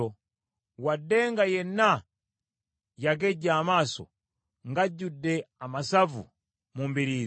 “Wadde nga yenna yagejja amaaso ng’ajjudde amasavu mu mbiriizi,